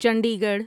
Chandi Garh